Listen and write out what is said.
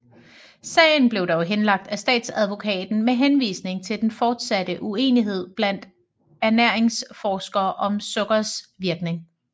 Sagen blev dog henlagt af statsadvokaten med henvisning til den fortsatte uenighed blandt ernæringsforskere om sukkers virkning